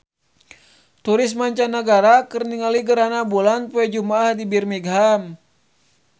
Turis mancanagara keur ningali gerhana bulan poe Jumaah di Birmingham